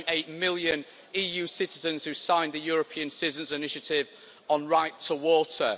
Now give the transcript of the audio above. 1.8 million EU citizens who signed the European Citizens' Initiative on the right to water.